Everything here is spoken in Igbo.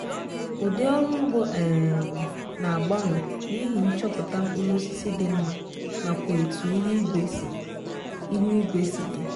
udi ọrụ ụgbo um na-agbanwa n' ihi nchọpụta mkpụrụosisi dị mma nakwa etu ihuigwe si ihuigwe si dị